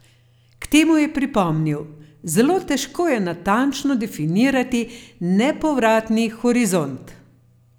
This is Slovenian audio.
K temu je pripomnil: "Zelo težko je natančno definirati nepovratni horizont.